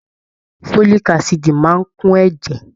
Folik asidi máa n kún ẹ̀jẹ̀.